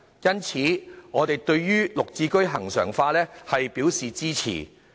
因此，我們對"綠置居"恆常化表示支持。